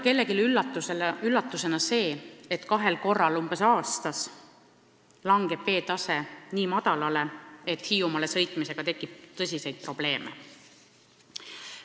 Kellelegi ei tule üllatusena ka see, et umbes kahel korral aastas langeb veetase nii madalale, et Hiiumaale sõitmisega tekib tõsiseid probleeme.